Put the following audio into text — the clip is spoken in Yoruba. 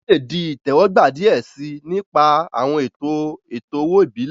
Wọn le di itẹwọgba diẹ sii, ni ipa awọn eto eto-owo ibile.